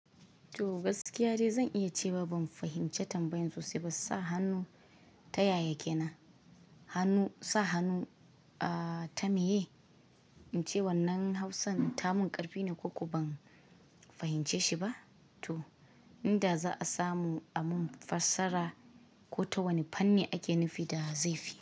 To gaskiya ce zan iya cewa ban fahimci tambayan sosai ba, sa hannu ta yaya kenan? Hannu Sa hannu a ta meye? In ce wannan Hausan ta mun ƙarfi ne ko ko ban fahimce shi ba? To inda za a samu a mun fassara ko ta wani fanni ake nufi da zafi.